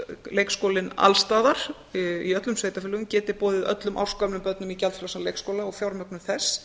leikskólinn alls staðar í öllum sveitarfélögum geti boðið öllum ársgömlum börnum í gjaldfrjálsan leikskóla og fjármögnun þess